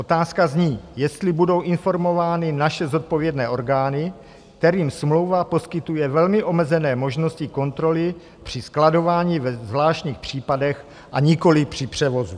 Otázka zní, jestli budou informovány naše zodpovědné orgány, kterým smlouva poskytuje velmi omezené možnosti kontroly při skladování ve zvláštních případech a nikoliv při převozu.